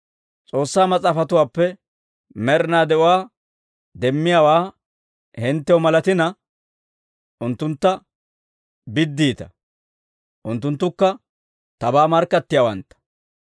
«S'oossaa Mas'aafatuwaappe med'inaa de'uwaa demmiyaawaa hinttew malatina, unttuntta biddiita; unttunttukka tabaa markkattiyaawantta.